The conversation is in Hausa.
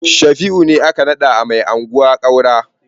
Shafi'u ne aka naɗa mai anguwa Kaura.